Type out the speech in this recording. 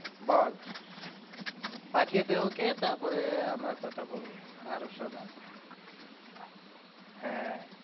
বল পাঠিয়েদে ওকে তারপরে আমরা কথা বলবো হ্যাঁ